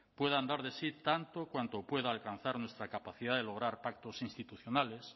puedan dar de sí tanto cuanto pueda alcanzar nuestra capacidad de lograr pactos institucionales